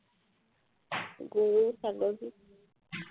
গৰু ছাগলী